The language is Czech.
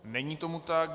Není tomu tak.